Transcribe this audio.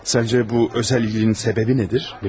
Savcı, bu özəlliyinin səbəbi nədir?